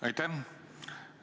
Aitäh!